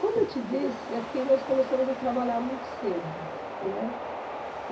Como eu te disse, aqui nós começamos a trabalhar muito cedo, né?